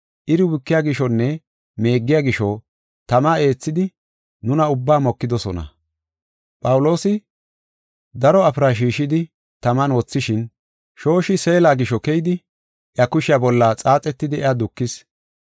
Phawuloosi daro afira shiishidi taman wothishin, shooshi seela gisho keyidi iya kushiya bolla xaaxetidi iya dukis.